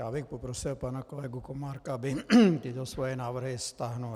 Já bych poprosil pana kolegu Komárka, aby tyto svoje návrhy stáhl.